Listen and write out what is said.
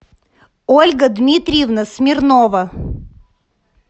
ольга дмитриевна смирнова